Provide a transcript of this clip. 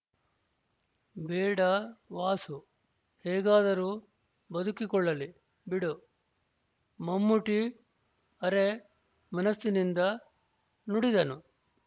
ಬೇಡ ವಾಸು ಹೇಗಾದರೂ ಬದುಕಿಕೊಳ್ಳಲಿ ಬಿಡು ಮಮ್ಮೂಟಿ ಅರೆ ಮನಸ್ಸಿನಿಂದ ನುಡಿದನು